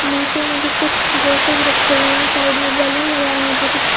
नीचे में भी कुछ ड्रेस रखे हुए हैं साइड में बैलून लगाये हुए है जोकि--